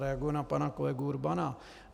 Zareaguji na pana kolegu Urbana.